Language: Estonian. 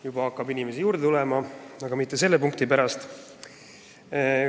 Juba hakkab inimesi juurde tulema, aga mitte selle punkti pärast.